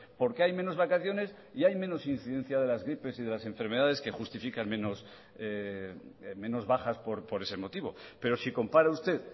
porque hay menos vacaciones y hay menos incidencia de las gripes y de las enfermedades que justifican menos bajas por ese motivo pero si compara usted